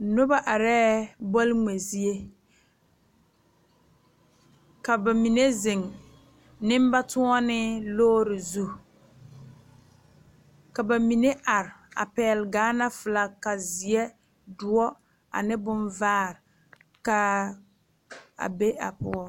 Noba are bol ŋmɛ zie ka bamine zeŋ nenbatoɔne lɔre zu ka bamine are a pegle Gaana filak ziɛ, doɔ, ane bonvaa kaa be a poɔ.